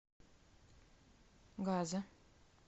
газа